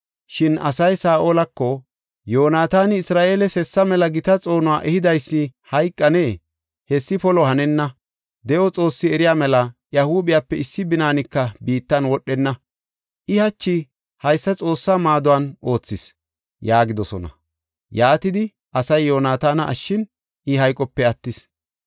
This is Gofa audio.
Shin asay Saa7olako, “Yoonataani, Isra7eeles hessa mela gita xoonuwa ehidaysi hayqanee? Hessi polo hanenna! De7o Xoossi eriya mela! Iya huuphiyape issi binaanika biittan wodhenna. I hachi haysa Xoossa maadon oothis” yaagidosona. Yaatidi asay Yoonataana ashshin, I hayqope attis.